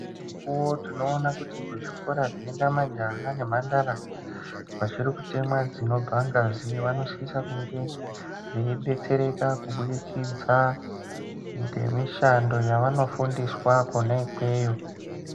Nedzimwe mukuwo tinoona kuti kuzvikora zvinoenda majaha nemhandara vachiri kutemwa dzinobvangazi vanosise kunge veibetsereka kubudikidza ngemishando yavanofundiswa kwona ikweyo.